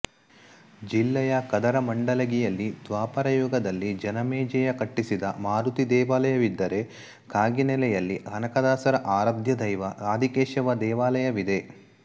ಜಿಲ್ಲೆಯ ಕದರ ಮಂಡಲಗಿಯಲ್ಲಿ ದ್ವಾಪರಯುಗದಲ್ಲಿ ಜನಮೇಜಯ ಕಟ್ಟಿಸಿದ ಮಾರುತಿ ದೇವಾಲಯವಿದ್ದರೆ ಕಾಗಿನೆಲೆಯಲ್ಲಿ ಕನಕದಾಸರ ಆರಾಧ್ಯದೈವ ಆದಿಕೇಶವ ದೇವಾಲಯವಿದೆ